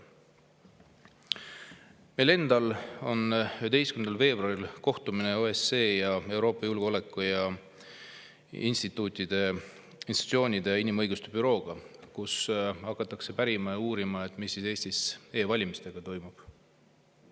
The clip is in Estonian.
Meil endal on 11. veebruaril kohtumine OSCE institutsioonide ja inimõiguste bürooga, kus hakatakse pärima ja uurima, mis ikkagi Eestis e-valimistega toimub.